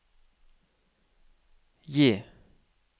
J